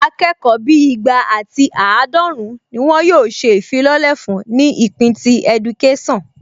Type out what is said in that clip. Akẹ́kọ̀ọ́ bíi igba ati àádọ́run ni wọn yóò ṣe ìfilọ́lẹ̀ fún ní ìpín ti ẹdukésàn